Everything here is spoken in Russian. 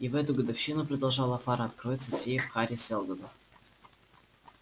и в эту годовщину продолжал фара откроется сейф хари сэлдона